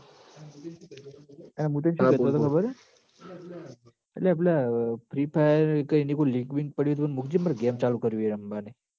આ મું તન શું કેતો તો ખબર હ અલ્યા પેલા free fire કઈ એની link પડી હોય ન તો મૂકજે ન માર game ચાલુ કરવી હ રંબાની